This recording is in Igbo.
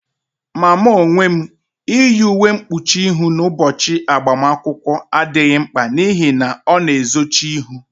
Ma mụ onwe m, iyi uwe mkpuchi ihụ n'ụbọchị agbamakwụkwọ adịghị mkpa n'ihi na ọ na-ezochi ihu